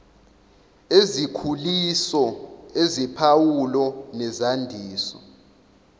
ezikhuliso eziphawulo nezandiso